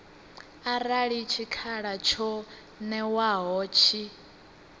arali tshikhala tsho ṅewaho tshi